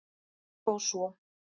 En þó svo